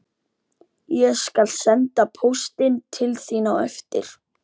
Ég skal senda póstinn til þín á eftir